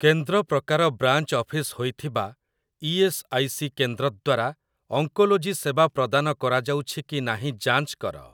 କେନ୍ଦ୍ର ପ୍ରକାର branch office ହୋଇଥିବା ଇ.ଏସ୍. ଆଇ. ସି. କେନ୍ଦ୍ର ଦ୍ୱାରା ଅଙ୍କୋଲୋଜି ସେବା ପ୍ରଦାନ କରାଯାଉଛି କି ନାହିଁ ଯାଞ୍ଚ କର ।